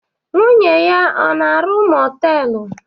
Nwanne ya o na-arụ moteelu?